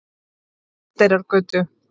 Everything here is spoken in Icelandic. Oddeyrargötu